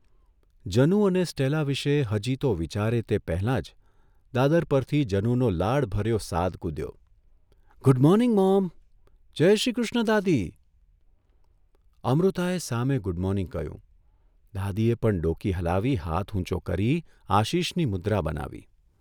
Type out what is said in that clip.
જનુ અને સ્ટેલા વિશે હજી તો વિચારે તે પહેલાં જ દાદર પરથી જનુનો લાડભર્યો સાદ કૂધ્યો, ' ગુડ મોર્નિંગ મોમ, જયશ્રી કૃષ્ણ દાદી' અમૃતાએ સામે ગુડ મોર્નિંગ કહ્યું દાદીએ પણ ડોકી હલાવી હાથ ઊંચો કરી આશિષની મુદ્રા બનાવી.